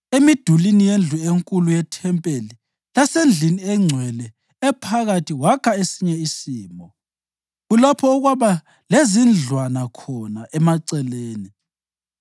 Emidulini yendlu enkulu yethempeli lasendlini engcwele ephakathi wakha esinye isimo, kulapho okwaba lezindlwana khona emaceleni.